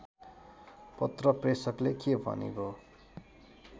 पत्र प्रेषकले के भनेको